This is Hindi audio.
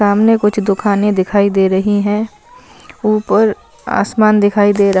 सामने कुछ दुकाने दिखाई दे रही है उपर आसमान दिखाई देरा--